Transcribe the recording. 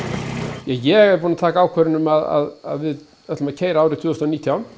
ja ég er búinn að taka ákvörðun um það að við ætlum að keyra árið tvö þúsund og nítján